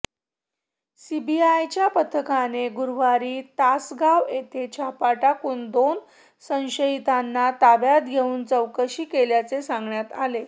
सीबीआयच्या पथकाने गुरुवारी तासगाव येथे छापा टाकून दोन संशयितांना ताब्यात घेऊन चौकशी केल्याचे सांगण्यात आले